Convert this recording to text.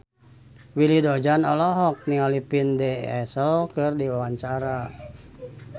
Willy Dozan olohok ningali Vin Diesel keur diwawancara